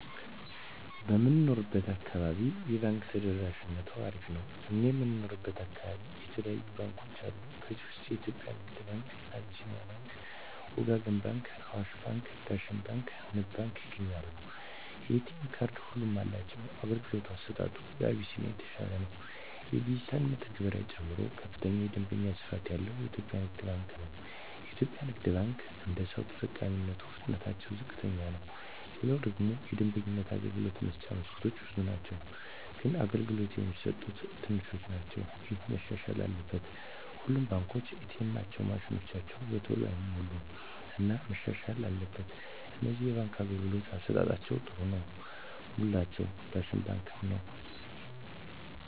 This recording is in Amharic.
በምንኖረው አካባቢ የባንክ ተደራሽነቱ አሪፍ ነው እኛ የምንኖረው አካባቢ የተለያዩ ባንኮች አሉ ከዚህ ውስጥ የኢትዮጵያ ንግድ ባንክ አቢስኒያ ባንክ ወጋገን ባንክ አዋሽ ባንክ ዳሽን ባንክ ንብ ባንክ ይገኛሉ የኤ.ቴ ካርድ ሁሉም አላቸው የአገልግሎቱ አሰጣጡ አቢስኒያ የተሻለ ነው የዲጅታል መተግበሪያ ጨምሮ ከፍተኛ የደንበኛ ስፋት ያለው ኢትዮጵያ ንግድ ባንክ ነው የኢትዮጵያ ንግድ ባንክ አደሰው ተጠቃሚነቱ ፍጥነትታቸው ዝቅተኛ ነው ሌላው ደግሞ የደንበኞች የአገልግሎት መስጫ መስኮቶች ብዙ ናቸው ግን አገልግሎት የሚሰጡት ትንሾች ናቸው እሄ መሻሻል አለበት ሌላው ሁሉም ባንኮች ኤ. ቴኤማቸው ማሽኖች በተሎ አይሞሉም እና መሻሻል አትበል ከነዚህ የባንክ አገልግሎት አሠጣጣቸዉ ጥሩ ነው ምላቸውን ዳሽን ባንክን ነዉ